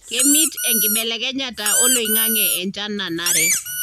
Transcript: kemit enkibelekenyata oloingange enchan nanare.